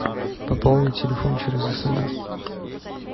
пополнить телефон через смс